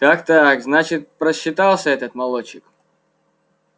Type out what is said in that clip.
так так значит просчитался этот молодчик